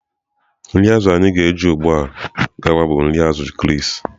Nri azụ̀ anyị ga-eji ugbu a gawa bụ nri azù Chris